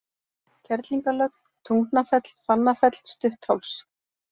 Kerlingarlögn, Tungnafell, Fannafell, Stuttháls